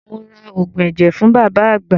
Mo ra oògùn ẹ̀jẹ̀ fún bàbá àgbà.